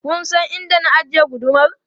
Kun san inda na ajiye gudumar?